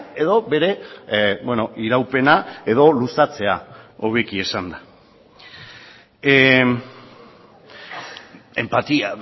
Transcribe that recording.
edo bere iraupena edo luzatzea hobeki esanda empatía